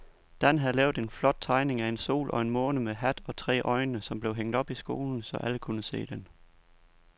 Dan havde lavet en flot tegning af en sol og en måne med hat og tre øjne, som blev hængt op i skolen, så alle kunne se den.